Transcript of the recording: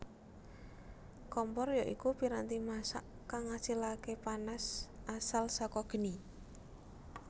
Kompor ya iku piranti masak kang ngasilaké panas asal sakageni